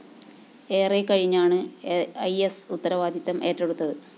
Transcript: ഏറെക്കഴിഞ്ഞാണ് ഇ സ്‌ ഉത്തരവാദിത്തം ഏറ്റെടുത്തത്